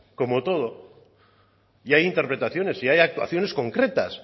como todo y hay interpretaciones y hay actuaciones concretas